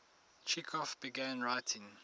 chekhov began writing